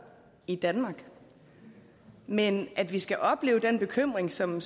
i danmark men at vi skal opleve den bekymring som man